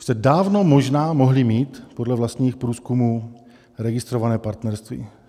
Už jste dávno možná mohli mít podle vlastních průzkumů registrované partnerství.